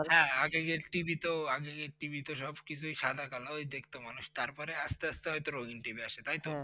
হ্যাঁ আগেকার TV তো আগেকার TV তো সবকিছুই সাদা কালো ওই দেখতো মানুষ তারপরে আস্তে আস্তে হয়তো রঙিন TV আসে তাই তো?